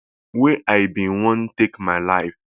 wey i bin wan take my life